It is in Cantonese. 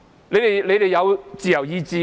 你們有自由意志嗎？